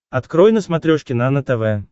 открой на смотрешке нано тв